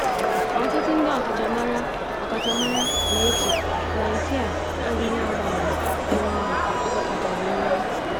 Ọtụtụ ndị ọkachamara ọkachamara na-eche na nke a adịghị agba àmà dị mma maka ọdịnihu.